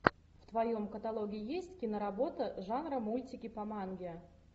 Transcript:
в твоем каталоге есть киноработа жанра мультики по манге